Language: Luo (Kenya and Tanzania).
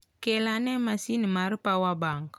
Kel ane masin mar power bank.